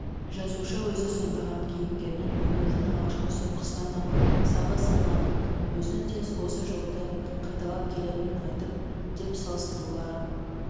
жазушы өзі сомдаған кейіпкерінің өмірдің алғашқы соққысынан-ақ сағы сынғанын өзінің де осы жолды қайталап келетінін айтып деп салыстырулар